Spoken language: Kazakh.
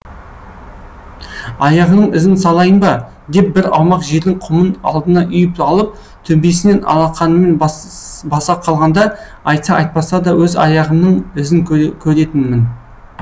аяғыңның ізін салайын ба деп бір аумақ жердің құмын алдына үйіп алып төбесінен алақанымен баса қалғанда айтса айтпасада өз аяғымның ізін көретінмін